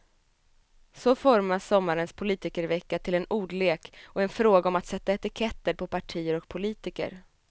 Så formas sommarens politikervecka till en ordlek och en fråga om att sätta etiketter på partier och politiker.